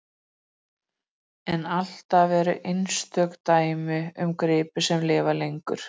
Þar með voru heimamenn komnir með blóð á tennurnar og tóku leikinn í sínar hendur.